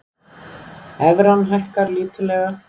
Evran hækkar lítillega